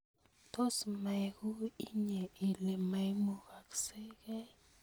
Tos mekui inye ile maimugoskei